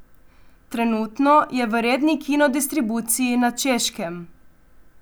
Trenutno je v redni kino distribuciji na Češkem.